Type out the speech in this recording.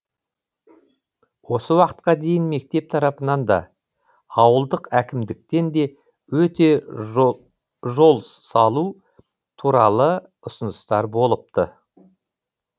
осы уақытқа дейін мектеп тарапынан да ауылдық әкімдіктен де өте жол салу туралы ұсыныстар болыпты